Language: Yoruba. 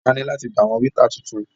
A ní láti gba àwọn wéétà tuntun.